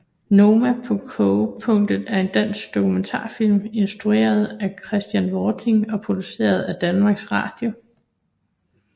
Noma på kogepunktet er en dansk dokumentarfilm instrueret af Christian Vorting og produceret af Danmarks Radio